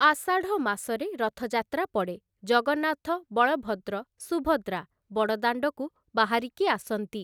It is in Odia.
ଆଷାଢ଼ ମାସରେ ରଥଯାତ୍ରା ପଡ଼େ ଜଗନ୍ନାଥ ବଳଭଦ୍ର ସୁଭଦ୍ରା ବଡ଼ଦାଣ୍ଡକୁ ବାହାରିକି ଆସନ୍ତି ।